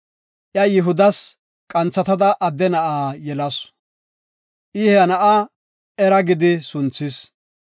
Iya Yihudas qanthatada adde na7a yelasu. I he na7a Era gidi sunthis.